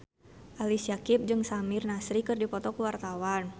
Ali Syakieb jeung Samir Nasri keur dipoto ku wartawan